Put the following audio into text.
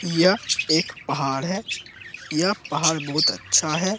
यह एक पहाड़ है यह पहाड़ बहुत अच्छा है।